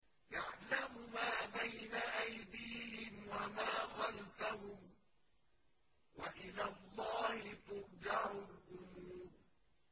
يَعْلَمُ مَا بَيْنَ أَيْدِيهِمْ وَمَا خَلْفَهُمْ ۗ وَإِلَى اللَّهِ تُرْجَعُ الْأُمُورُ